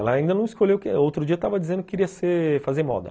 Ela ainda não escolheu o que... Outro dia tava dizendo que queria ser... fazer moda.